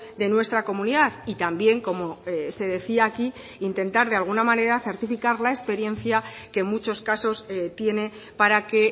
de nuestra comunidad y también como se decía aquí intentar de alguna manera certificar la experiencia que en muchos casos tiene para que